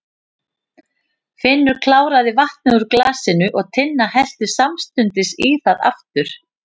Finnur kláraði vatnið úr glasinu og Tinna hellti samstundis í það aftur.